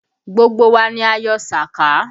Gbogbo wa ni a yọ sàká